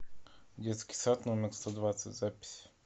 детский сад номер сто двадцать запись